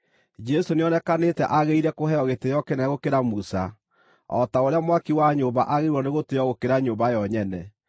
Jesũ nĩonekanĩte aagĩrĩire kũheo gĩtĩĩo kĩnene gũkĩra Musa, o ta ũrĩa mwaki wa nyũmba aagĩrĩirwo nĩ gũtĩĩo gũkĩra nyũmba yo nyene.